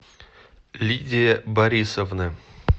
лидия борисовна